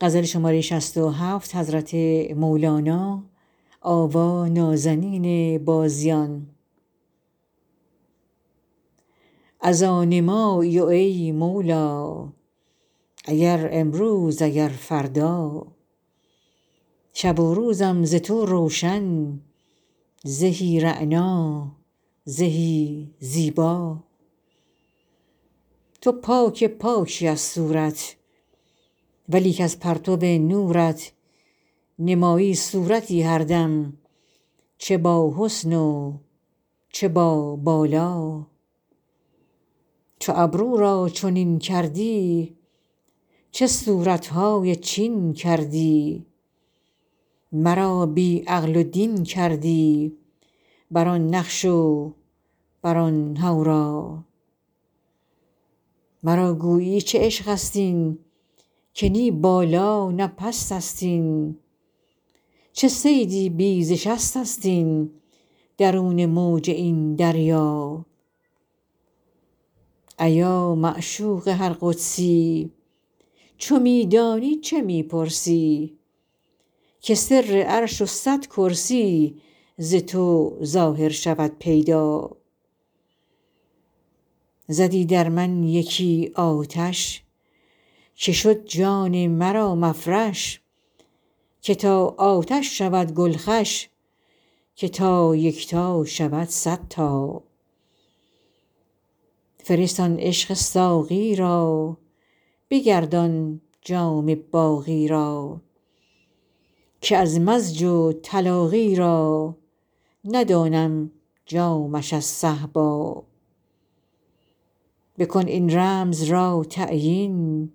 از آن مایی ای مولا اگر امروز اگر فردا شب و روزم ز تو روشن زهی رعنا زهی زیبا تو پاک پاکی از صورت ولیک از پرتو نورت نمایی صورتی هر دم چه باحسن و چه بابالا چو ابرو را چنین کردی چه صورت های چین کردی مرا بی عقل و دین کردی بر آن نقش و بر آن حورا مرا گویی چه عشقست این که نی بالا نه پستست این چه صیدی بی ز شستست این درون موج این دریا ایا معشوق هر قدسی چو می دانی چه می پرسی که سر عرش و صد کرسی ز تو ظاهر شود پیدا زدی در من یکی آتش که شد جان مرا مفرش که تا آتش شود گل خوش که تا یکتا شود صد تا فرست آن عشق ساقی را بگردان جام باقی را که از مزج و تلاقی را ندانم جامش از صهبا بکن این رمز را تعیین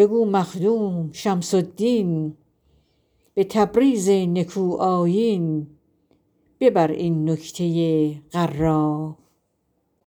بگو مخدوم شمس الدین به تبریز نکوآیین ببر این نکته غرا